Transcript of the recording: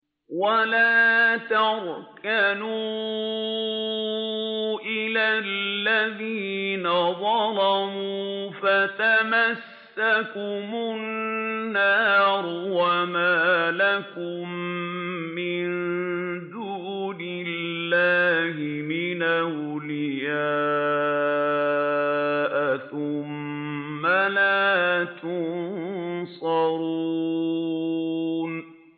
وَلَا تَرْكَنُوا إِلَى الَّذِينَ ظَلَمُوا فَتَمَسَّكُمُ النَّارُ وَمَا لَكُم مِّن دُونِ اللَّهِ مِنْ أَوْلِيَاءَ ثُمَّ لَا تُنصَرُونَ